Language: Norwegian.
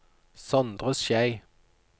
Sondre Schei